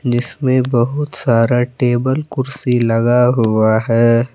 इसमें बहुत सारा टेबल कुर्सी लगा हुआ है।